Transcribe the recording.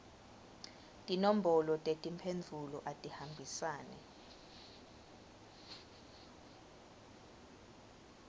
tinombolo tetimphendvulo atihambisane